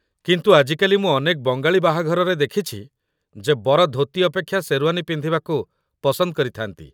କିନ୍ତୁ ଆଜିକାଲି, ମୁଁ ଅନେକ ବଙ୍ଗାଳି ବାହାଘରରେ ଦେଖିଛି ଯେ ବର ଧୋତି ଅପେକ୍ଷା ଶେର୍ୱାନୀ ପିନ୍ଧିବାକୁ ପସନ୍ଦ କରିଥାନ୍ତି